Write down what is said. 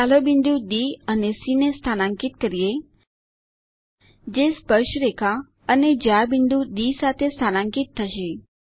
ચાલો બિંદુ ડી અને સી ને સ્થાનાંકિત કરીએ જે સ્પર્શરેખા અને જ્યા બિંદુ ડી સાથે સ્થાનાંકિત થશે